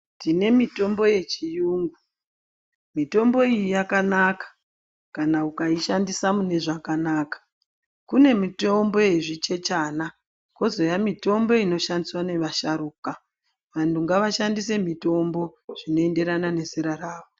Tine mitombo yechiyungu. Mitombo iyi yakanaka kana ukaishandisa mune zvakanaka. Kune mitombo yezvichechana kozouya mitombo inoshandiswa neasharuka. Vanhu ngaashandise mitombo zvinoenderana nezera rawo.